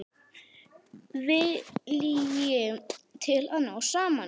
Vilji til að ná saman.